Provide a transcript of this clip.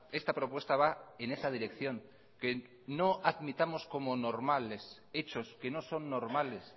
esta propuesta va en esa dirección que no admitamos como normales hechos que no son normales